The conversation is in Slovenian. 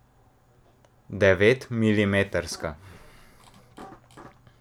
Devetmilimetrska.